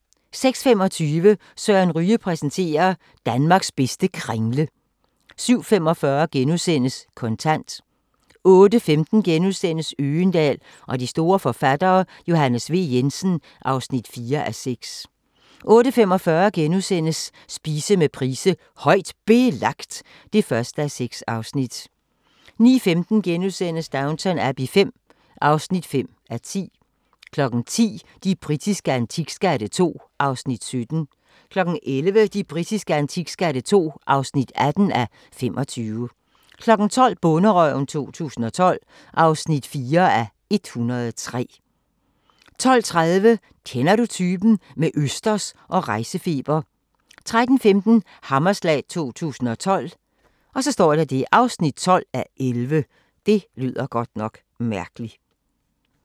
06:25: Søren Ryge præsenterer: Danmarks bedste kringle 07:45: Kontant * 08:15: Øgendahl og de store forfattere: Johannes V. Jensen (4:6)* 08:45: Spise med Price: "Højt Belagt" (1:6)* 09:15: Downton Abbey V (5:10)* 10:00: De britiske antikskatte II (17:25) 11:00: De britiske antikskatte II (18:25) 12:00: Bonderøven 2012 (4:103) 12:30: Kender du typen? – med østers og rejsefeber 13:15: Hammerslag 2012 (12:11)